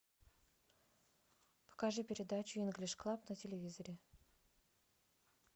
покажи передачу инглиш клаб на телевизоре